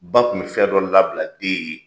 Ba Kun bi fɛn dɔ labila den ye.